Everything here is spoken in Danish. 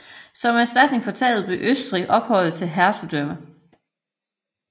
Som erstatning for tabet blev Østrig ophøjet til et hertugdømme